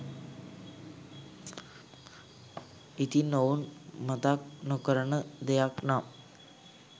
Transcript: ඉතින් ඔවුන් මතක් නොකරන දෙයක් නම්